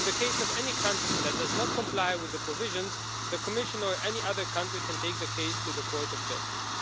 In the case of any country that does not comply with the provisions, the Commission or any other country can take the case to the Court of Justice.